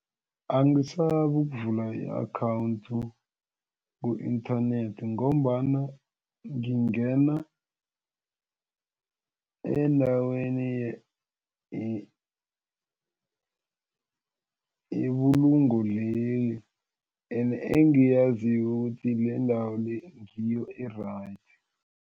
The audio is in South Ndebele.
Angisabi ukuvula i-akhawundi ku-inthanethi ngombana ngingena endaweni yebulungo leli ene engiyaziko ukuthi lendawe le ngiyo e-right.